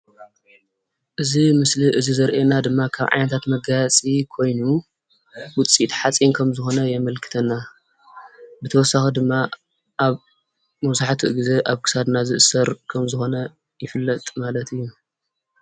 እዚ ምስሊ እዙይ ዘረእየና ድማ ካብ ዓይነታት መጋየፂ ኮይኑ ውፅኢት ሓፂን ከም ዝኮነ የምልክተና። ብተወሳኪ ድማ ኣብ መብዛሕትኡ ግዜ ኣብ ክሳድና ዝእሰር ከም ዝኮነ ይፍለጥ ማለት እዩ።